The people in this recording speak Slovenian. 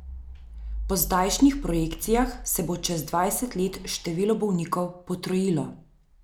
Po zdajšnjih projekcijah se bo čez dvajset let število bolnikov potrojilo.